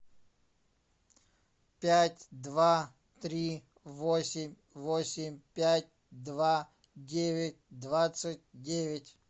пять два три восемь восемь пять два девять двадцать девять